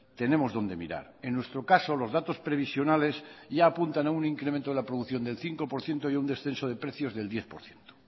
tenemos dónde mirar en nuestro caso los datos previsionales ya apuntan a un incremento de la producción del cinco por ciento y un descenso de precios del diez por ciento